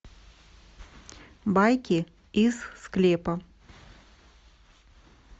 байки из склепа